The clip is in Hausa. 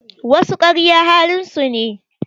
Wasu karya halin su ne